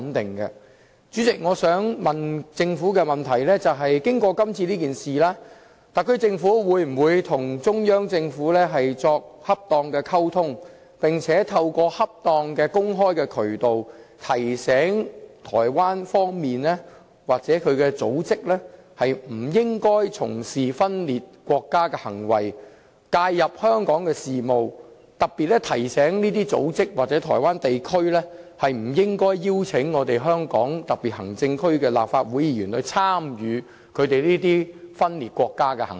代理主席，我想問政府，經過今次事件，特區政府會否跟中央政府作恰當溝通，並且透過恰當的公開渠道，提醒台灣方面的組織不應該從事分裂國家的行為，介入香港事務，特別提醒這些組織或台灣地區，不應該邀請香港特區的立法會議員參與他們這些分裂國家的行為？